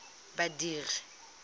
badiri